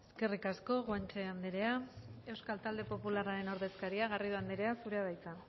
eskerrik asko guanche anderea euskal talde popularraren ordezkaria garrido anderea zurea da hitza